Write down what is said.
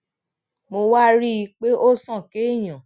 mo wá rí i pé ó sàn kéèyàn